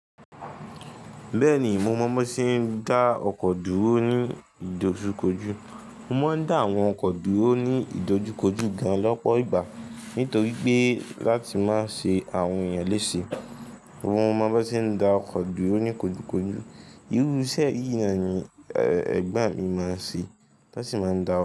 Bẹ́ẹ̀ni mo mọ mọ tí ń dá ọkọ̀ dúró ní ìdojúkojú. Mo mọ n dá àwọn ọkọ̀ dúró ní ìdojúkojú gan lọ́pọ̀ ìgbà nítorí pé láti má ṣe àwọn èèyàn lése. Mo mọ bọn ti ń dá ọkọ̀ dúró ní kojukoju. Irú iṣẹ́ yìí naani ẹ̀gbọ́n mi máa ń ṣe, tan sì máa ń dá.